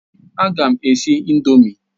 A ga m esi ị̀ndómị́